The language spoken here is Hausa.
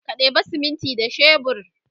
ka ɗeba siminti da shebur